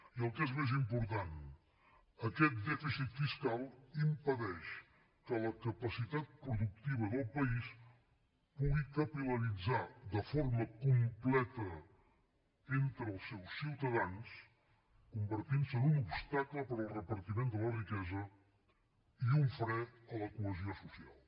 i el que és més important aquest dèficit fiscal impedeix que la capacitat productiva del país pugui capil·laritzar de forma completa entre els seus ciutadans convertint se en un obstacle per al repartiment de la riquesa i un fre a la cohesió social